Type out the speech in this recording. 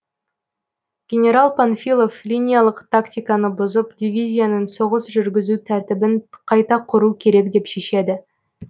генерал панфилов линиялық тактиканы бұзып дивизияның соғыс жүргізу тәртібін қайта құру керек деп шешеді